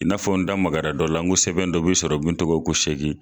I n'a fɔ n da magara dɔ la n go sɛbɛn dɔ bi sɔrɔ min tɔgɔ ko sɛgin